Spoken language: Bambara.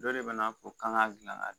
Dɔ de bɛna fɔ k'an k'a dilan ka